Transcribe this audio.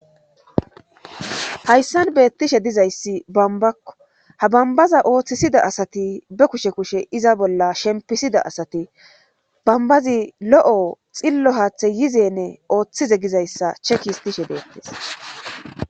hayssan beettishe dizayssi bombakko. ha bombaza ooththisida asati be kushe kushe iza bolla shempisida asati bombazi lo'o xillo haaththe yizene ooththize gizayssa cheki histishe beettess.